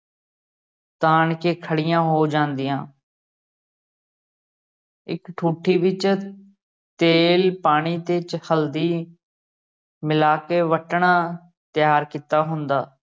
ਤਾਣ ਕੇ ਖੜੀਆ ਹੋ ਜਾਂਦੀਆਂ ਇਕ ਠੂਠੀ ਵਿਚ ਤੇਲ, ਪਾਣੀ ਤੇ ਵਿਚ ਹਲਦੀ ਮਿਲਾ ਕੇ ਵੱਟਣਾ ਤਿਆਰ ਕੀਤਾ ਹੁੰਦਾ।